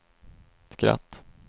skratt